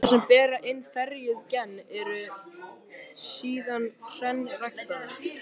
Plöntur sem bera hin ferjuðu gen eru síðan hreinræktaðar.